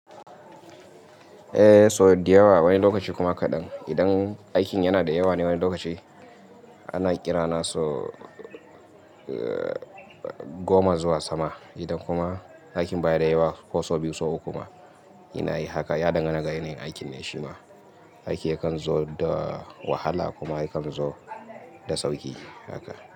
Eh so da yawa wani lokaci kuma kadan. Idan aikin yana da yawa ne wani lokaci ana ƙira na so goma zuwa sama. Idan kuma aikin baya da yawa ko so biyu ko uku ma ina yi haka. Ya dangana da yanayin aikin ne shima. Aiki yakan zo da wahala kuma yakan zo da sauƙi haka.